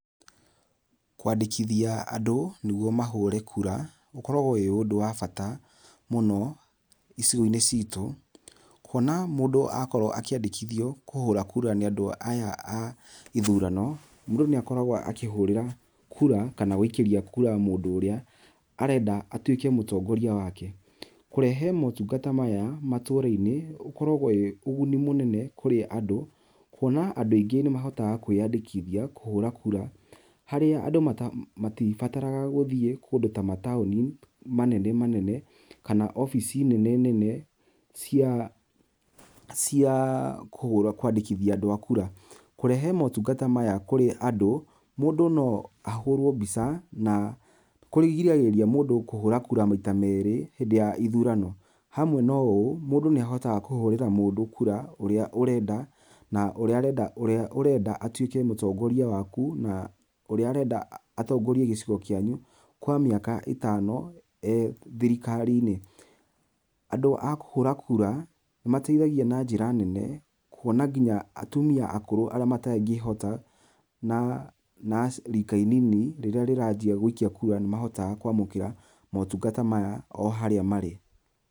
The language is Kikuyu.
Kwandĩkithia andũ nĩguo mahũre kura ũkoragwo wĩ ũndũ wa bata mũno icigo-inĩ citũ. Kuona mũndũ akorwo akĩandĩkithio kũhũra kura nĩ andũ aya a ithurano, mũndũ nĩ akoragwo akĩhũrĩra kura kana gũikĩrĩa kura mũndũ ũrĩa arenda atuĩke mũtongoria wake. Kũrehe motungata maya matũra-inĩ ũkoragwo wĩ ũguni mũnene kũrĩ andũ, kuona andũ aingĩ nĩ mahotaga kwĩandĩkithia kũhũra kura harĩa andũ matibataraga gũthiĩ kũndũ ta mataũni manene manene kana obici nene nene cia kwandĩkithia andũ a kura. Kũrehe motungata maya kũrĩ andũ mũndũ no ahũrwo mbica na kũgirĩrĩria mũndũ kũhũra kura maita merĩ hĩndĩ ya ithurano. Hamwe na ũũ mũndũ nĩ ahotaga kũhũrira mũndũ kura na ũrĩa ũrenda atuĩke mũtongoria waku, na ũrĩa ũrenda atongorie gĩcigo kĩanyu kwa mĩaka ĩtano ee thirikari-inĩ. Andũ a kũhũra kura nĩ mateĩthagia na njĩra nene kuona nginya atumia akũrũ arĩa matangĩhota, na rika inini rĩrĩa rĩranjia gũikia kura nĩ mahotaga kũamũkĩra motungata maya o haria marĩ.